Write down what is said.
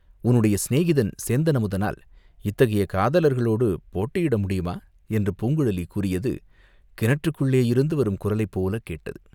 "உன்னுடைய சிநேகிதன் சேந்தன்அமுதனால் இத்தகைய காதலர்களோடு போட்டியிட முடியுமா?" என்று பூங்குழலி கூறியது கிணற்றுக்குள்ளேயிருந்து வரும் குரலைப் போல் கேட்டது.